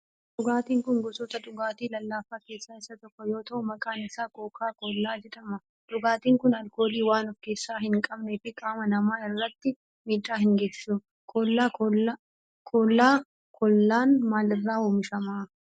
Dhugaatin kun gosoota dhugaatii lallaafaa keessaa isa tokko yoo ta'u maqaan isaa kookaa koollaa jedhama. Dhugaatin kun alkoolii waan of keessaa hin qabneef qaama namaa irratti miidhaa hin geessisu. Koolaa koollaan maal irraa oomishama?